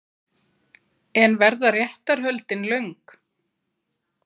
En verða réttarhöldin löng?